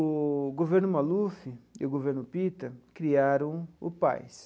O governo Maluf e o governo Pitta criaram o PAS.